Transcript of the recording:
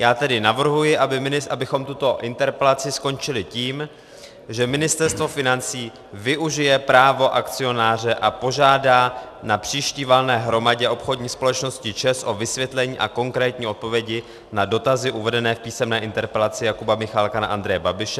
Já tedy navrhuji, abychom tuto interpelaci skončili tím, že Ministerstvo financí využije právo akcionáře a požádá na příští valné hromadě obchodní společnosti ČEZ o vysvětlení a konkrétní odpovědi na dotazy uvedené v písemné interpelaci Jakuba Michálka na Andreje Babiše.